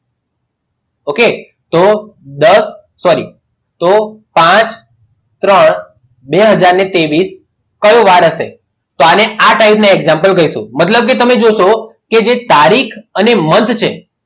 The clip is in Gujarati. Okay તો દસ sorry તો પાંચ ત્રણ બે હાજર ને ત્રેવીસ કયો વાર હશે તો આને આ type નું example કહીશું મતલબ કે તમે જોશો કે જે તારીખ અને month છે.